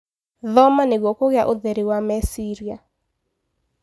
Thoma nĩguo kũgĩa ũtheri wa meciria.